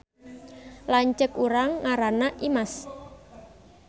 Lanceuk urang ngaranna Imas